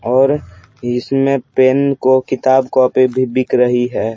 और इसमें पेन को किताब कॉपी भी बिक रही है ।